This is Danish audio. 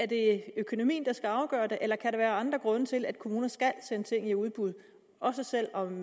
det økonomien der skal afgøre det eller kan der være andre grunde til at kommuner skal sende ting i udbud også selv om